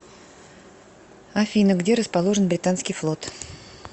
афина где расположен британский флот